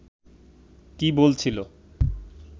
কি বলছিল